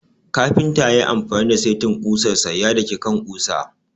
Kafinta ya yi amfani da saitin kusar sa ya daki kan ƙusa.